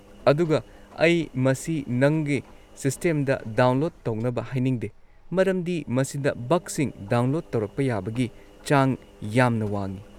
ꯑꯗꯨꯒ ꯑꯩ ꯃꯁꯤ ꯅꯪꯒꯤ ꯁꯤꯁꯇꯦꯝꯗ ꯗꯥꯎꯟꯂꯣꯗ ꯇꯧꯅꯕ ꯍꯥꯏꯅꯤꯡꯗꯦ ꯃꯔꯝꯗꯤ ꯃꯁꯤꯗ ꯕꯒꯁꯤꯡ ꯗꯥꯎꯟꯂꯣꯗ ꯇꯧꯔꯛꯄ ꯌꯥꯕꯒꯤ ꯆꯥꯡ ꯌꯥꯝꯅ ꯋꯥꯡꯉꯤ꯫